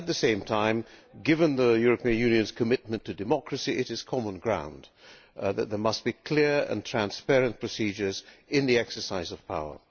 At the same time, given the European Union's commitment to democracy, it is common sense that there must be clear and transparent procedures in the exercise of power.